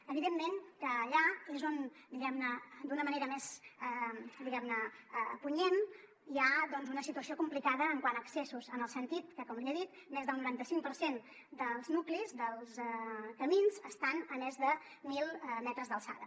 evidentment que allà és on diguem ne d’una manera més punyent hi ha doncs una situació complicada quant a excessos en el sentit que com li he dit més del noranta cinc per cent dels nuclis dels camins estan a més de mil metres d’alçada